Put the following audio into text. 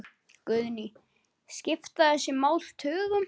Guðný: Skipta þessi mál tugum?